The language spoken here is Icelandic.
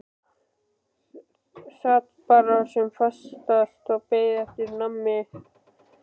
Sat bara sem fastast og beið eftir að mamma kæmi.